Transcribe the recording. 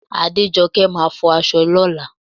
Adéjọkẹ́ máa fọ aṣọ ní ọ̀la